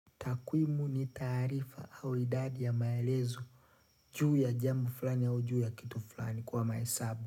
Takwimu ni tarifa au idadi ya maelezo juu ya jambo fulani au juu ya kitu fulani kwa mahesabu.